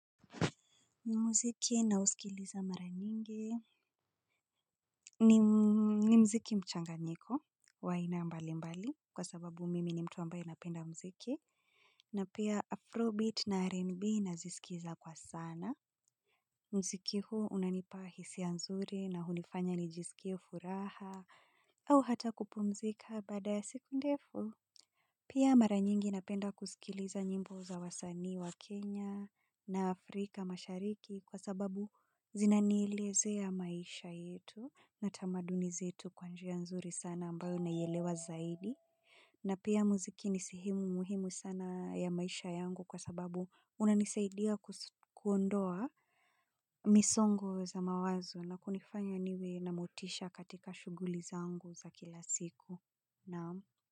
Muziki nausikiliza mara nyingi ni muziki mchanganyiko wa ina mbali mbali kwa sababu mimi ni mtu ambaye napenda muziki na pia Afrobeat na R&B nazisikiza kwa sana. Muziki huo unanipa hisia nzuri na hunifanya nijisikie furaha au hata kupumzika baada ya siku ndefu. Pia mara nyingi napenda kusikiliza nyimbo za wasanii wa Kenya, na Afrika mashariki kwa sababu zinanieleze maisha yetu na tamaduni zetu kwa njia nzuri sana ambayo naielewa zaidi. Na pia muziki ni sehemu muhimu sana ya maisha yangu kwa sababu unanisaidia kuondoa misongo za mawazo na kunifanya niwe na motisha katika shughuli zangu za kila siku. Naam.